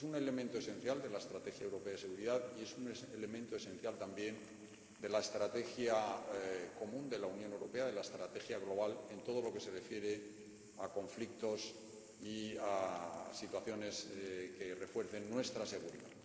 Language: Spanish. Este es un elemento esencial de la estrategia europea de seguridad y es un elemento esencial también de la estrategia común de la Unión Europea, de la estrategia global en todo lo que se refiere a conflictos y a situaciones que refuercen nuestra seguridad.